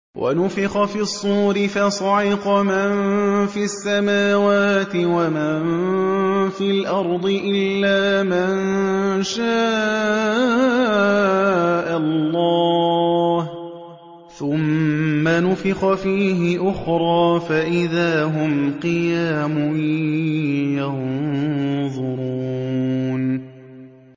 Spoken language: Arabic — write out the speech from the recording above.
وَنُفِخَ فِي الصُّورِ فَصَعِقَ مَن فِي السَّمَاوَاتِ وَمَن فِي الْأَرْضِ إِلَّا مَن شَاءَ اللَّهُ ۖ ثُمَّ نُفِخَ فِيهِ أُخْرَىٰ فَإِذَا هُمْ قِيَامٌ يَنظُرُونَ